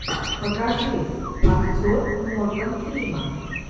покажи актер морган фриман